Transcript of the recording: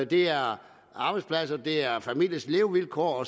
det er arbejdspladser det er familiers levevilkår